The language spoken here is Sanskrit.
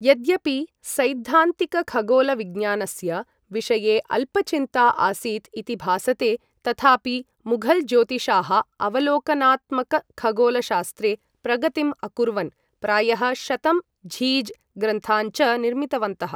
यद्यपि सैद्धान्तिकखगोलविज्ञानस्य विषये अल्पचिन्ता आसीत् इति भासते, तथापि मुघल् ज्योतिषाः अवलोकनात्मकखगोलशास्त्रे प्रगतिम् अकुर्वन्, प्रायः शतं झीज् ग्रन्थान् च निर्मितवन्तः।